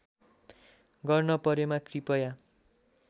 गर्न परेमा कृपया